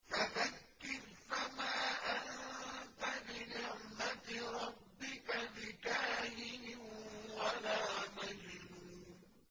فَذَكِّرْ فَمَا أَنتَ بِنِعْمَتِ رَبِّكَ بِكَاهِنٍ وَلَا مَجْنُونٍ